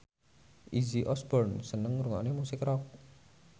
Izzy Osborne seneng ngrungokne musik rock